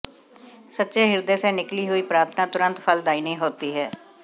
सच्चे हृदय से निकली हुई प्रार्थना तुरन्त फलदायिनी होती है